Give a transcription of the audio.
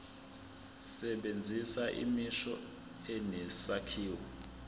sebenzisa imisho enesakhiwo